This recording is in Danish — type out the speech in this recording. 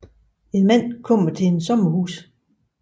En mand kommer til et sommerhus